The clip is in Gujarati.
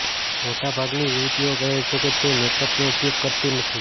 મોટાભાગની યુવતીઓ કહે છે કે તે મેકઅપનો ઉપયોગ કરતી નથી